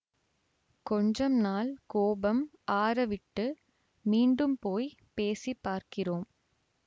கொஞ்சம் நாள் கோபம் ஆறவிட்டு மீண்டும் போய் பேசிப் பார்க்கிறோம்